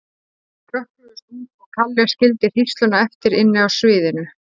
Þau hrökkluðust út og Kalli skildi hrísluna eftir inni á sviðinu.